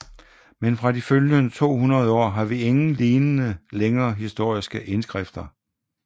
Men fra de følgende 200 år har vi ingen lignende længere historiske indskrifter